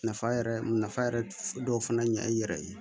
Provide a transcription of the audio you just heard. Nafa yɛrɛ nafa yɛrɛ dɔw fana ɲɛ i yɛrɛ ye